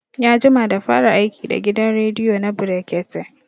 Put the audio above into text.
Ya jima da fara aiki da gidan rediyo na brekete